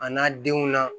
A n'a denw na